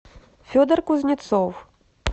федор кузнецов